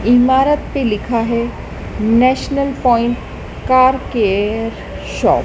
इमारात पे लिखा है national point car care shop.